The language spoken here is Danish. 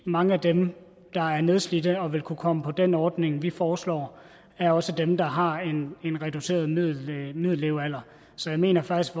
mange af dem der er nedslidte og vil kunne komme på den ordning vi foreslår er også dem der har en reduceret middellevealder så jeg mener faktisk